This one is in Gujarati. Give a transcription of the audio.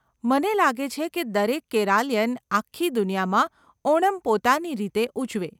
મને લાગે છે કે દરેક કેરાલીયન આખી દુનિયામાં ઓણમ પોતાની રીતે ઉજવે